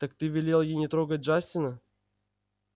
так ты велел ей не трогать джастина